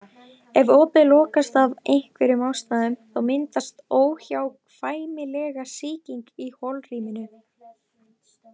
Ef opið lokast af einhverjum ástæðum þá myndast óhjákvæmilega sýking í holrýminu.